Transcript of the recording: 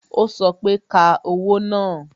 o sọ pé "Ka owó náà"